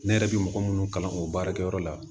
Ne yɛrɛ bɛ mɔgɔ minnu kalan o baarakɛyɔrɔ la